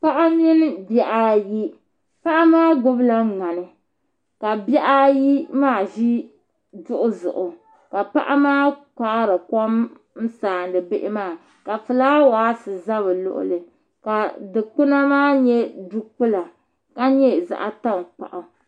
paɣa mini bihi ayi paɣa maa gbubila ŋmani ka bihi ayi maa ʒi duɣu zuɣu ka paɣa maa kpaari kom n-sariti bihi maa ka fulaawasi za bɛ luɣili ka dikpuna maa nyɛ dukpula ka nyɛ zaɣ' taŋkpaɣu